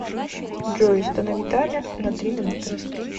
джой установи таймер на три минуты